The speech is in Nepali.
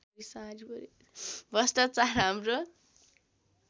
भ्रष्ट्राचार हाम्रो